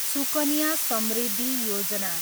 Sukanya Samriddhi Yojana